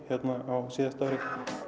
á síðasta ári